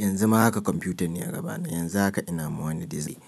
Yanzu ma haka kwamfuta ne a gaba na, yanzu haka ina ma wani dizai.